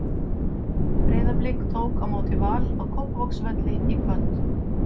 Breiðablik tók á móti Val á Kópavogsvelli í kvöld.